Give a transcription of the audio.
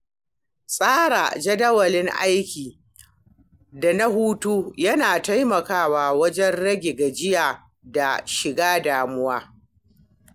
Tsara jadawalin lokaci aiki da na hutu yana taimakawa wajen rage gajiya da shiga damuwa.